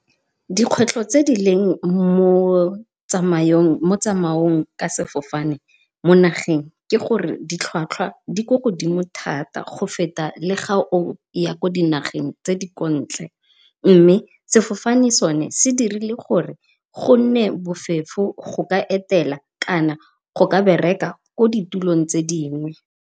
Dikgwetlho tse di leng mo tsamaong ka sefofane mo nageng ke gore ditlhwatlhwa di ko godimo thata go feta le ga o ya kwa dinageng tse di ko ntle, mme sefofane sone se dirile gore go nne bofefo go ka etela kana go ka bereka ko ditulong tse dingwe.